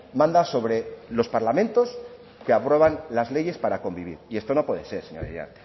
manda sobre los parlamentos que aprueban las leyes para convivir y esto no puede ser señorías